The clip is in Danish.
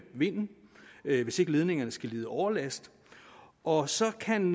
vinden hvis ikke ledningerne skal lide overlast og så kan